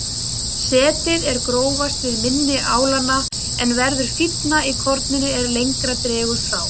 Setið er grófast við mynni álanna en verður fínna í korninu er lengra dregur frá.